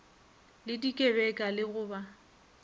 le dikebeka le go ba